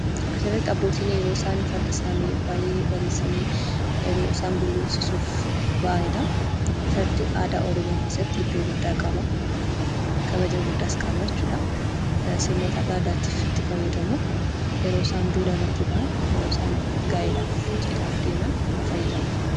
Asirratti abbootiin farda isaanii baay'ee abreechani yeroo isaan gulufsiisuuf ba'aanidha. Fardi aadaa Oromoo keessatti iddoo gudda qaba. Kabajaa guddasa qaba. Sirnoota addaa addaatiif itti faayadamu.